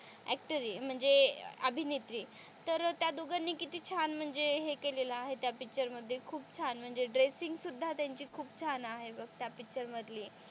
Actor म्हणजे अभिनेत्री तर त्या दोघांनी किती छान म्हणजे हे केलेलं आहे त्या पिक्चर मध्ये खूप छान म्हणजे ड्रेससिंग सुद्धा त्यांची खूप छान आहे बघ त्या पिक्चर मधली.